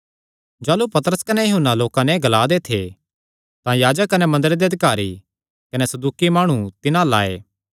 जाह़लू पतरस कने यूहन्ना लोकां नैं एह़ ग्ला दे थे तां याजक कने मंदरे दे अधिकारी कने सदूकी माणु तिन्हां अल्ल आये